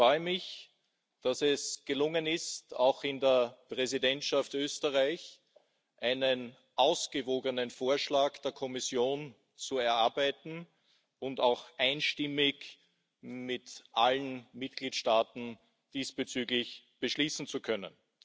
Ich freue mich, dass es gelungen ist, auch in der Präsidentschaft Österreich einen ausgewogenen Vorschlag der Kommission zu erarbeiten und auch einstimmig mit allen Mitgliedstaaten beschließen zu können.